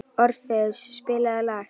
Orfeus, spilaðu lag.